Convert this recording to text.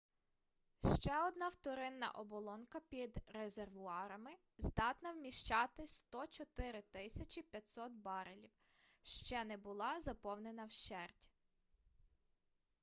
ще одна вторинна оболонка під резервуарами здатна вміщати 104 500 барелів ще не була заповнена вщерть